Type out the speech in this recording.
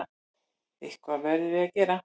Eitthvað verðum við að gera.